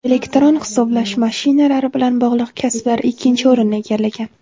Elektron hisoblash mashinalari bilan bog‘liq kasblar ikkinchi o‘rinni egallagan.